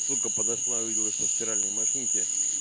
сука подошла увидела что в стиральной машинке